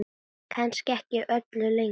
Kannski ekki öllu lengur?